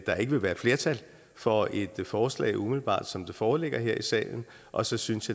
der ikke vil være flertal for et forslag umiddelbart som det foreligger her i salen og så synes